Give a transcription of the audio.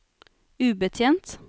ubetjent